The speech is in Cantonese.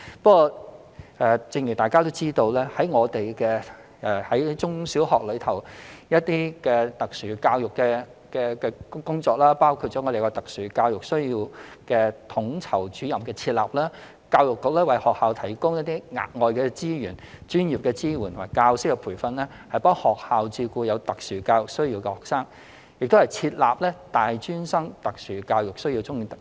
不過正如大家知道，我們在中小學的特殊教育工作，包括設立特殊教育需要統籌主任；教育局為學校提供額外資源、專業支援及教師培訓，協助學校照顧有特殊教育需要的學生，以及設立大專生特殊教育需要津貼等。